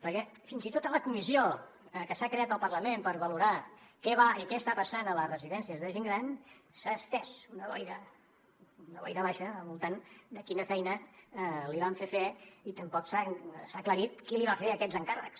perquè fins i tot a la comissió que s’ha creat al parlament per valorar què va i què està passant a les residències de gent gran s’ha estès una boira una boira baixa al voltant de quina feina li van fer fer i tampoc s’ha aclarit qui li va fer aquests encàrrecs